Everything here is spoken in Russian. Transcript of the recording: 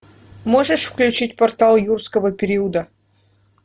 можешь включить портал юрского периода